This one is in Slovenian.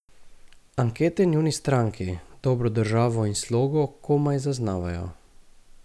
Ankete njuni stranki, Dobro državo in Slogo, komaj zaznavajo.